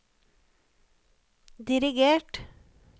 dirigert